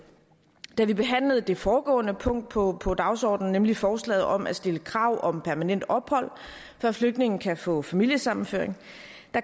da vi behandlede det foregående punkt på på dagsordenen nemlig forslaget om at stille krav om permanent ophold før flygtningen kan få familiesammenføring